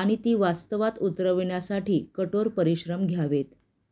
आणि ती वास्तवात उतरवण्यासाठी कठोर परिश्रम घ्यावेत